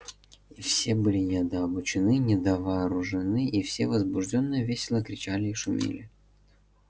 и все были недообучены недовооружены и все возбуждённо весело кричали и шумели